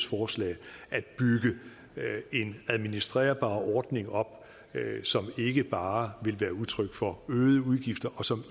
forslag at bygge en administrerbar ordning op som ikke bare vil være udtryk for øgede udgifter og som